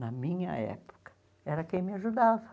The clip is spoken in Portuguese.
Na minha época, era quem me ajudava.